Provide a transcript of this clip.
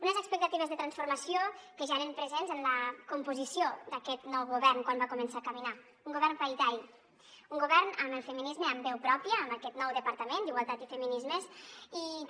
unes expectatives de transformació que ja eren presents en la composició d’aquest nou govern quan va començar a caminar un govern paritari un govern amb el feminisme amb veu pròpia amb aquest nou departament d’igualtat i feminismes i també